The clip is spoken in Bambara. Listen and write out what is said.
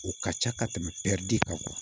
O ka ca ka tɛmɛ de kan